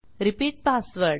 repeat password